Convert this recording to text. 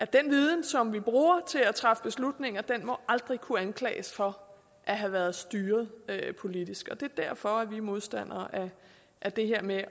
den viden som vi bruger til at træffe beslutninger aldrig må kunne anklages for at have været styret politisk det er derfor at vi er modstandere af det her med